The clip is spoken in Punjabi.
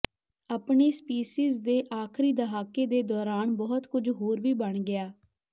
ਆਪਣੇ ਸਪੀਸੀਜ਼ ਦੇ ਆਖਰੀ ਦਹਾਕੇ ਦੇ ਦੌਰਾਨ ਬਹੁਤ ਕੁਝ ਹੋਰ ਵੀ ਬਣ ਗਿਆ